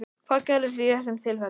Hvað gerðuð þið í þessum tilfellum?